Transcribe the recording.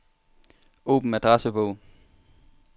Åbn adressebog.